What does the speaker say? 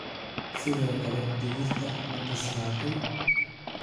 Sidoo kale digirta ma bislaatay?